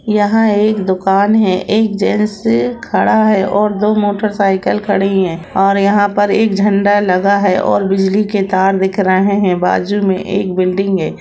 यहां एक दुकान है एक जेंट्स से खड़ा है और दो मोटरसाइकिल खड़ी है और यहां पर एक झंडा लगा है और बिजली के तार दिख रहे हैं बाजू में एक बिल्डिंग है।